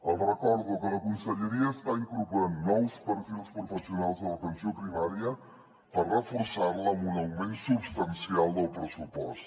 els recordo que la conselleria està incorporant nous perfils professionals de l’atenció primària per reforçar la amb un augment substancial del pressupost